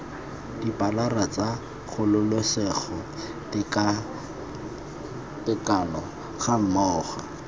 dipilara tsa kgololesego tekatekano gammogo